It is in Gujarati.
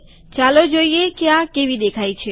ચાલો જોઈએ કે આ કેવી દેખાય છે